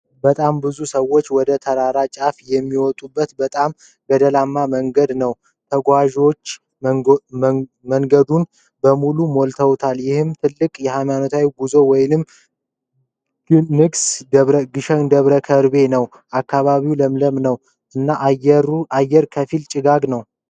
በጣም ብዙ ሰዎች ወደ ተራራ ጫፍ የሚወጡበትን በጣም ገደላማ መንገድ ነው። ተጓዦች መንገዱን በሙሉ ሞልተውታል፤ ይህም ትልቅ ሃይማኖታዊ ጉዞ ወይም ግሰን ደብረ ከርቤ ነው። አካባቢው ለምለም ነው፣ እና አየር ከፊል ጭጋጋማ ነው።